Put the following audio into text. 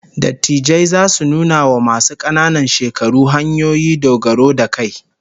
Dattijai zasu nuna wa masu kananan shekaru hanyoyi dogaro da kai